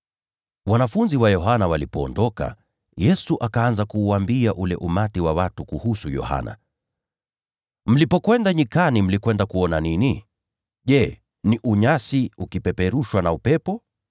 Wajumbe wa Yohana walipoondoka, Yesu akaanza kusema na makutano kuhusu Yohana Mbatizaji. Akawauliza, “Mlipokwenda kule nyikani, mlikwenda kuona nini? Je, ni unyasi ukipeperushwa na upepo?